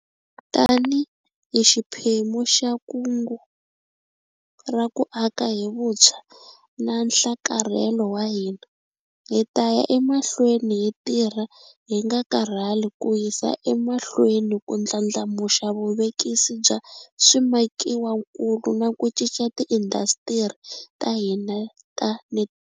Tanihi xiphemu xa Kungu ra ku Aka hi Vuntshwa na Nhlakarhelo wa hina, hi ta ya emahlweni hi tirha hi nga karhali ku yisa emahlweni ku ndlandlamuxa vuvekisi bya swimakiwakulu na ku cinca tiindasitiri ta hina ta.